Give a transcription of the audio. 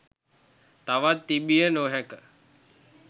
තවත් තිබිය නොහැක